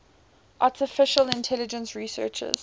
artificial intelligence researchers